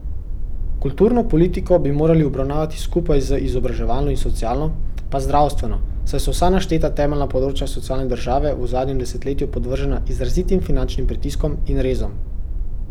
Kulturno politiko bi morali obravnavati skupaj z izobraževalno in socialno, pa z zdravstveno, saj so vsa našteta temeljna področja socialne države v zadnjem desetletju podvržena izrazitim finančnim pritiskom in rezom.